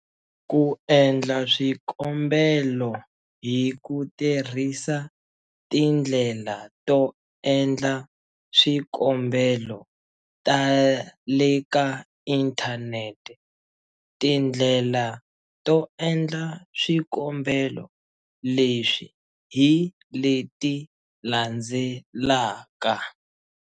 Ku endla swikombelo hi ku tirhisa tindlela to endla swikombelo ta le ka inthanete. Tindlela to endla swikombelo leswi hi leti landzelaka.